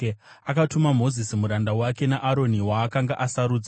Akatuma Mozisi muranda wake, naAroni, waakanga asarudza.